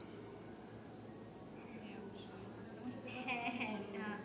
হ্যা হ্যা, অবশ্যই তোমার সাথে কথা অনেক ভালো লাগলো।